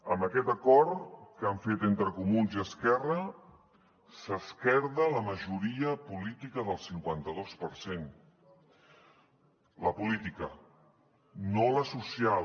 amb aquest acord que han fet entre comuns i esquerra s’esquerda la majoria política del cinquanta dos per cent la política no la social